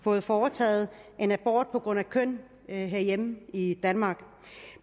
fået foretaget en abort på grund af køn herhjemme i danmark